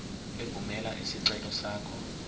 evumela isicelo sakho